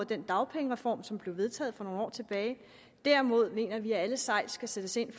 den dagpengereform som blev vedtaget for nogle år tilbage derimod mener vi at alle sejl skal sættes ind